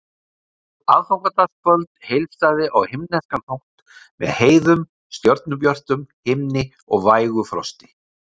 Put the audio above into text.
Aðfangadagskvöld heilsaði á himneskan hátt með heiðum, stjörnubjörtum himni og vægu frosti.